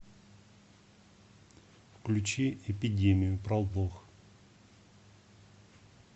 включи эпидемию пролог